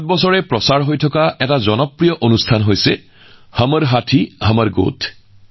যোৱা ৭ বছৰে ইয়াত ৰেডিঅত এটা জনপ্ৰিয় অনুষ্ঠান সম্প্ৰচাৰিত হৈ আছে যাৰ নাম হমৰ হাতীহমৰ গোঠ